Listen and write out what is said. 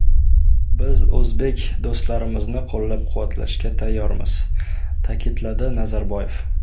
Biz o‘zbek do‘stlarimizni qo‘llab-quvvatlashga tayyormiz”, ta’kidladi Nazarboyev.